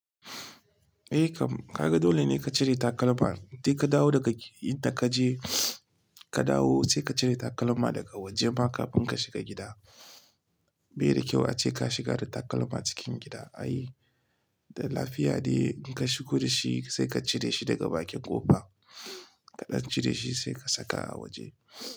Eh kam, kaga dole ne ka cire takalma. Sai ka dawo daga inda ka je, ka dawo sai ka cire takalma daga waje maka, kafin ka shiga gida. Bai da kyau ace ka shiga da takalma cikin gida. Ai da lafiya ne in ka shigo da shi sai ka cire shi daga bakin ƙofa. Kaɗan cire shi sai ka saka a waje.